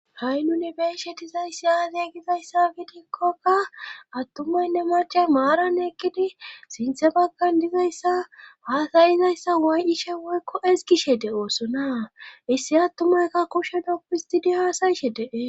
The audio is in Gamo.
ha7i nune beishe dizayssi aazey gizayssa biidikkokka attumaynne marchay maarann ekkidi sinthe bakkan dizayssa waasayizayssa waay7ishe woykko esgishe de7oosona issi attumaykka kushenopuhistidi haasayishe dee